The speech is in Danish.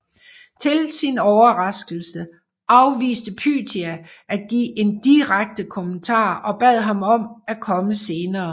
Til sin overraskelse afviste Pythia at give en direkte kommentar og bad ham om at komme senere